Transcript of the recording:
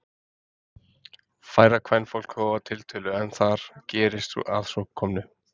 Færra kvenfólk þó að tiltölu en þar gerist að svo komnu.